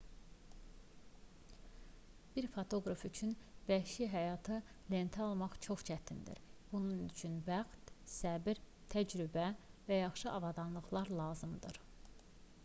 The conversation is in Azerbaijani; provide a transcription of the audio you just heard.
bir fotoqraf üçün vəhşi həyatı lentə almaq çox çətindir bunun üçün bəxt səbr təcrübə və yaxşı avadanlıqlar lazımdır